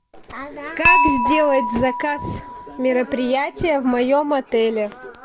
как сделать заказ мероприятия в моем отеле